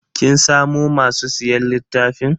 Kin samu masu siyan littafin?